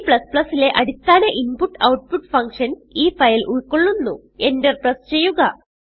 C ലെ അടിസ്ഥാന input output functions ഈ ഫയൽ ഉൾകൊള്ളുന്നുEnter പ്രസ് ചെയ്യുക